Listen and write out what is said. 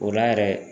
O la yɛrɛ